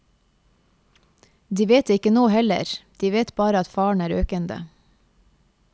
De vet det ikke nå heller, de vet bare at faren er økende.